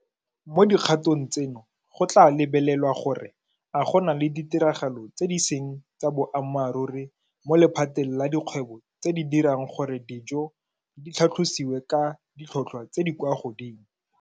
Mo dikgatong tseno go tla lebelelwa gore a go na le ditiragalo tse di seng tsa boammaruri mo lephateng la dikgwebo tse di dirang gore dijo di tlhatlhosiwe ka ditlhotlhwa tse di kwa godimo.